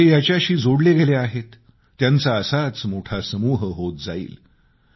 जे याच्याशी जोडले गेले आहेत त्यांचा एक असाच मोठा समूह होत जाईल